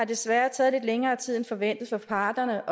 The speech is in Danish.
desværre taget lidt længere tid end forventet for parterne